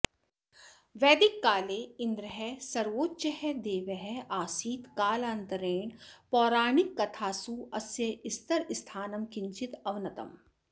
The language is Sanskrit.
वैदिककाले इन्द्रः सर्वोच्चः देवः आसीत् कालान्तरेण पौराणिककथासु अस्य स्तर स्थानं किञ्चित् अवनतम्